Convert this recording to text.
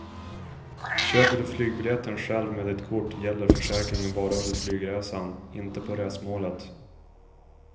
Köper du flygbiljetten själv med ditt kort gäller försäkringen bara under flygresan, inte på resmålet.